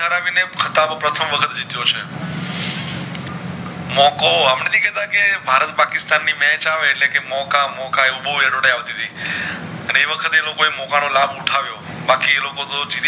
પ્રથમ વખત થઈ ગયો છે મોકો આપડે નથી કેતા કે ભરત પાકિસ્તાન ની match આવે એટલે કે મોકા મોકા એવું બોવ Edotay આવતી તી એવખતે તે લોકો એ મોકા નો લાભ ઉઠાવીયો બાકી એ લોકો તો